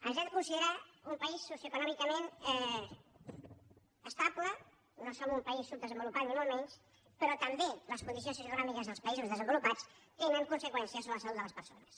ens hem de considerar un país socioeconòmicament estable no som un país subdesenvolupat ni molt menys però també les condicions socioeconòmiques dels països desenvolupats tenen conseqüències sobre la salut de les persones